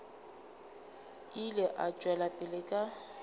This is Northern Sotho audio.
ile a tšwela pele ka